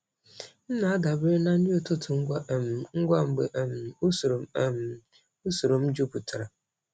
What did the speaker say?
M na-adabere na nri ụtụtụ ngwa um ngwa mgbe um usoro m um usoro m jupụtara.